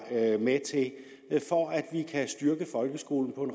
med til for at vi kan styrke folkeskolen